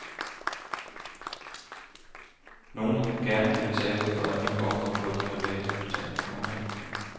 Nogle gerne vil betale for en ny hofte på et privat hospital. punktum